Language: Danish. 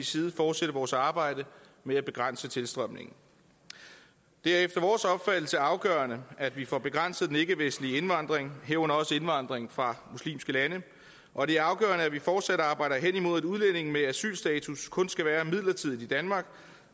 side fortsætte vores arbejde med at begrænse tilstrømningen det er efter vores opfattelse afgørende at vi får begrænset den ikkevestlige indvandring herunder også indvandringen fra muslimske lande og det er afgørende at vi fortsat arbejder hen imod at udlændinge med asylstatus kun skal være midlertidigt i danmark